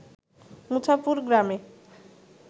মুছাপুর গ্রামে